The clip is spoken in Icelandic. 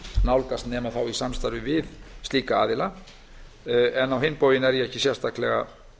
nálgast nema þá í samstarfi við slíka aðila á hinn bóginn er ég ekki sérstaklega